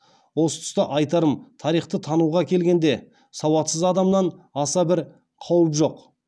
осы тұста айтарым тарихты тануға келгенде сауатсыз адамнан аса бір қауіп жоқ